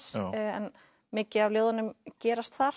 en mikið af ljóðunum gerast þar